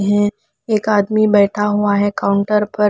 है एक आदमी बैठा हुआ है काउंटर पर --